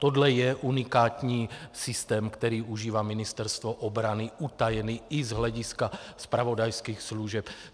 Tohle je unikátní systém, který užívá Ministerstvo obrany, utajený i z hlediska zpravodajských služeb.